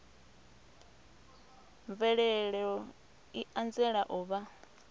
mvelelo i anzela u vha